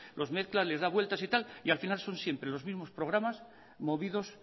los mezcla les da vueltas y tal y al final son siempre los mismos programas movidos